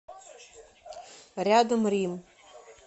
рядом рим